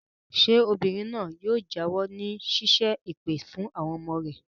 Ṣé obìnrin náà yóò jáwọ́ nínú ṣíṣẹ́ èpè fún àwọn ọmọ rẹ̀?